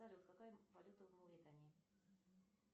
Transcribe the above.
салют какая валюта в мавритании